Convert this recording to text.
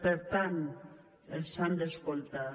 per tant els han d’escoltar